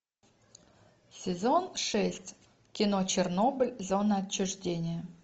сезон шесть кино чернобыль зона отчуждения